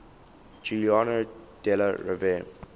giuliano della rovere